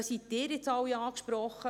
Damit werden Sie nun angesprochen: